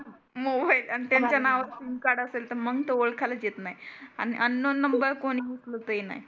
Mobile आन त्यांच नाव सिम कार्ड असेल तर मग तर ओळखायलाच येत नाही. आन अननोन कोणी उचलतही नाही.